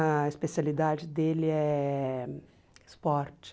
A especialidade dele é esporte.